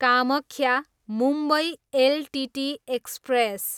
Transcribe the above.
Kamakhya, Mumbai LTT express